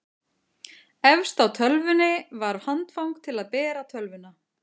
efst á tölvunni var handfang til að bera tölvuna